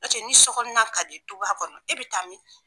N'o tɛ ni sokɔnɔna ka di du kɔnɔ e be taa min.